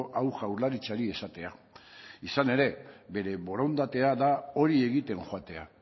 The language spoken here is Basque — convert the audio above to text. hau jaurlaritzari esatea izan ere bere borondatea da hori egiten joatea